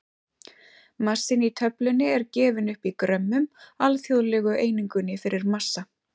Massinn í töflunni er gefinn upp í grömmum, alþjóðlegu einingunni fyrir massa.